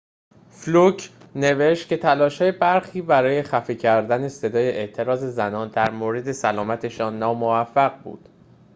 فلوک نوشت که تلاش‌های برخی برای خفه کردن صدای اعتراض زنان در مورد سلامتشان ناموفق بود